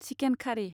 chicken खारि